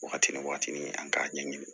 Waagati ni waagati ni an k'a ɲɛɲini